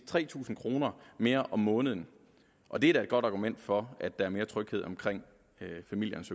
tre tusind kroner mere om måneden og det er da et godt argument for at der er mere tryghed omkring familiernes